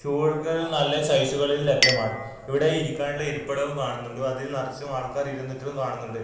റ്റൂളുകൾ നല്ല സൈസുകളിൽ ലഭ്യമാണ് ഇവിടെ ഇരിക്കാനുള്ള ഇരിപ്പിടവും കാണുന്നുണ്ട് അതിൽ നറച്ചും ആൾക്കാർ ഇരുന്നിറ്റും കാണുന്നുണ്ട്.